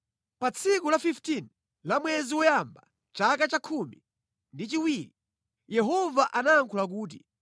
Pa tsiku la 15 la mwezi woyamba, chaka cha khumi ndi chiwiri, Yehova anayankhula kuti: